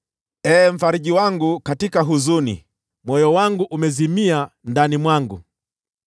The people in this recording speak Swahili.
Ee Mfariji wangu katika huzuni, moyo wangu umezimia ndani yangu.